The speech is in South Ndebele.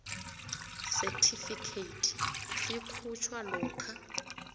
certificate sikhutjhwa lokha